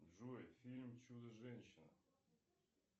джой фильм чудо женщина